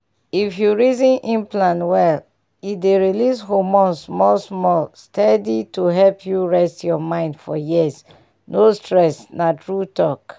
if you reason implant well e dey release hormone small-small steady to help you rest your mind for years — no stress na true talk.